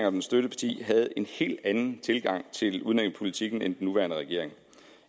og dens støtteparti havde en helt anden tilgang til udlændingepolitikken end den nuværende regering